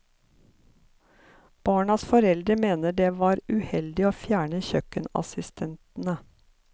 Barnas foreldre mener det var uheldig å fjerne kjøkkenassistentene.